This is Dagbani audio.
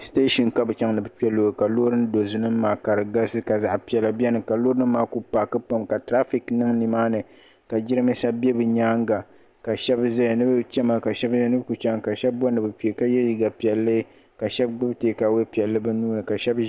Station ka bi chaŋ ninni kpɛ loori ka loori ndozi nim ma nim maa kari galisi ka zaɣi piɛlla bɛni ka loori nim maa ku paaki pam ka tirafek niŋ ni maani ka jiranbesa bɛ bibyɛanga ka shɛba zaya ni bi chɛmi ka shɛb mi yɛli ni ku chaŋ ka shɛb bori ni bi kpɛ ka yɛli liiga piɛlli ka shɛba gbubi takaawɛi piɛlli bi nuu ni